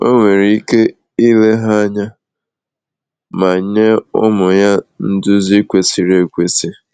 O nwere ike ile ha anya ma nye ụmụ ya nduzi kwesịrị ekwesị.